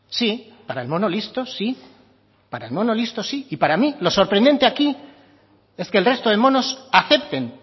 sí para el mono listo sí para el mono listo sí y para mí lo sorprendente aquí es que el resto de monos acepten